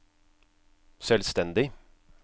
selvstendig